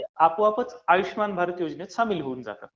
ती आपोआपच आयुष्यमान भारत योजनेत सामील होऊन जातात.